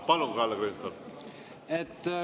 Palun, Kalle Grünthal!